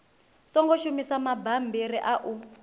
songo shumisa mabammbiri a u